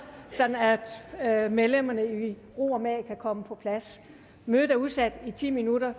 sådan at medlemmerne i ro og mag kan komme på plads mødet er udsat i ti minutter og